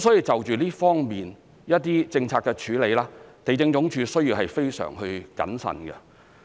所以就這方面的政策處理，地政總署要非常謹慎。